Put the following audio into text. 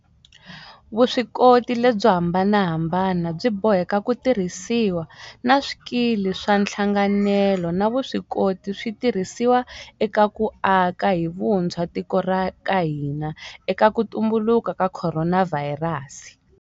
Vuswikoti lebyo hambanahambana byi boheka ku tirhisiwa, na swikili swa nhlanganelo na vuswikoti swi tirhisiwa eka ku aka hi vuntshwa tiko ra ka hina eka ku tumbuluka ka khoronavhayirasi.